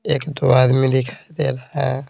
एक दो आदमी दिखाई दे रहा है।